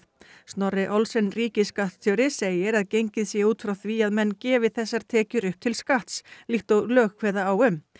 Snorri Olsen ríkisskattstjóri segir að gengið sé út frá því að menn gefi þessar tekjur upp til skatts líkt og lög kveða á um